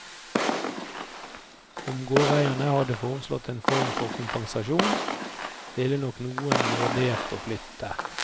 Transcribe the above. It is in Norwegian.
Om gårdeierne hadde foreslått en form for kompensasjon, ville nok noen vurdert å flytte.